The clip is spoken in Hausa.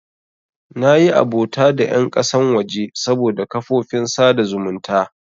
Nayi abota da ƴan ƙasan waje saboda kafofin sada zumunta.